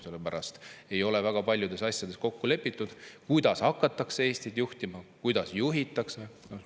Sellepärast ei ole väga paljudes asjades kokku lepitud: kuidas hakatakse Eestit juhtima, kuidas juhitakse.